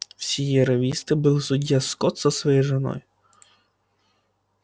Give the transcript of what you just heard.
в сиерра висте был судья скотт со своей женой